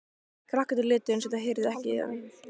Krakkarnir létu eins og þau heyrðu ekki í þeim.